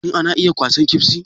Shin ana iya kwasan ƙebsi?